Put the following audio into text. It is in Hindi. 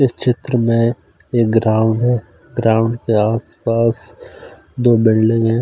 इस क्षेत्र में एक ग्राउंड है ग्राउंड के आस-पास दो बिल्डिंग है।